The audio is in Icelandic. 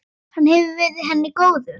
Hann hefur verið henni góður.